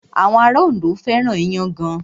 Àwọn ará Ondo fẹ́ràn iyán gan.